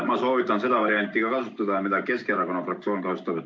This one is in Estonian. Ma soovitan seda varianti kasutada, mida Keskerakonna fraktsioon kasutab.